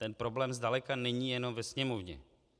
Ten problém zdaleka není jen ve Sněmovně.